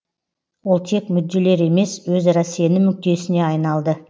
ол тек мүдделер емес өзара сенім нүктесіне айналды